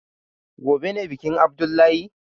Gobe ne bikin abdullahi?